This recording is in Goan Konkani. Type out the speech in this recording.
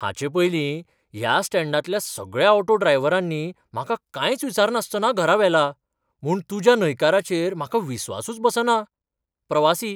हाचे पयलीं ह्या स्टँडांतल्या सगळ्या ऑटो ड्रायव्हरांनी म्हाका कांयच विचारनासतना घरा व्हेला, म्हुणून तुज्या न्हयकाराचेर म्हाका विस्वासूच बसना. प्रवासी